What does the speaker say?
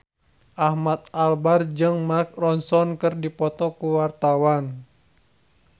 Ahmad Albar jeung Mark Ronson keur dipoto ku wartawan